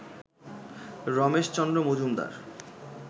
Rameshchandra Majumdar